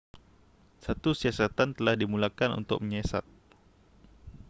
satu siasatan telah dimulakan untuk menyiasat